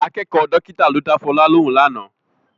Akẹ́kọ̀ọ́ dọ́kítà ló dá Fọlá lóhùn lánàá